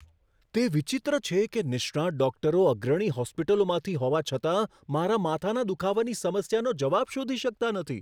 તે વિચિત્ર છે કે નિષ્ણાત ડોકટરો અગ્રણી હોસ્પિટલોમાંથી હોવા છતાં, મારા માથાના દુખાવાની સમસ્યાનો જવાબ શોધી શકતા નથી.